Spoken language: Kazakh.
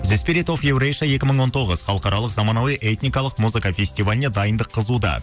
екі мың он тоғыз халықаралық замануи этникалық музыка фестиваліне дайындық қызуда